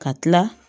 Ka tila